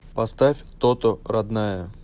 поставь тото родная